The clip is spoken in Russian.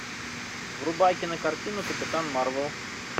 врубай кинокартину капитан марвел